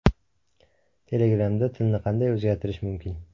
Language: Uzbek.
Telegram’da tilni qanday o‘zgartirish mumkin?